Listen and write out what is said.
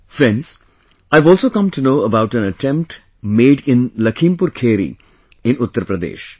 Friends, I have also come to know about an attempt made in LakhimpurKheri in Uttar Pradesh